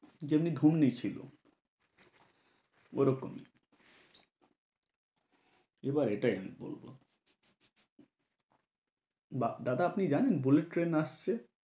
যেমনি ঢুমনি ছিল, ওরকম। এবার এটাই আমি বলব। বা~ দাদা, আপনি জানেন bullet train আসছে?